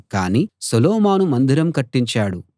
కాని సొలొమోను మందిరం కట్టించాడు